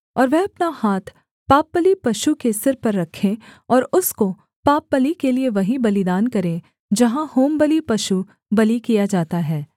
और वह अपना हाथ पापबलि पशु के सिर पर रखे और उसको पापबलि के लिये वहीं बलिदान करे जहाँ होमबलि पशुबलि किया जाता है